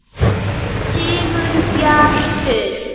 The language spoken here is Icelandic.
Sigurbjartur